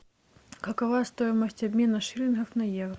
какова стоимость обмена шиллингов на евро